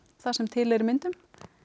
það sem til er í myndum